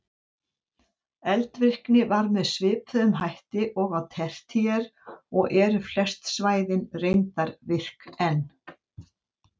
Eldvirkni var með svipuðum hætti og á tertíer og eru flest svæðin reyndar virk enn.